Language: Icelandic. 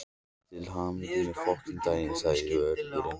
Til hamingju með daginn segir vörðurinn.